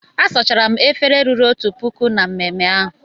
A sara m efere ruru otu puku na mmemme ahụ.